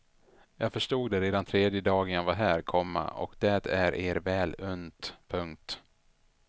Jag förstod det redan tredje dagen jag var här, komma och det är er väl unt. punkt